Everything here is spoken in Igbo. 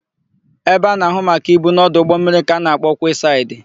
Ebe a na-áhụ̀ maka ibu n'ọdụ ụgbọmmiri ka a na-akpọ kwesaịdị.